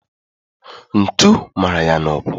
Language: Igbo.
Ntu mara ya n'ụkwụ